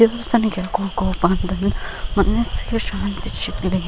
ದೇವಸ್ಥಾನಕ್ಕೆ ಯಾಕ ಹೋಗೋ ಬಾ ಅಂತರ್ ಮೊನ್ನೆ ಸಹ --